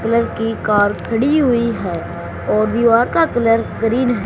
Colour की car खड़ी हुई है और दीवार का कलर ग्रीन है।